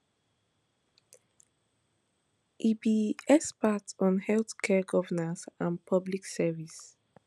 e be expert on healthcare governance and public service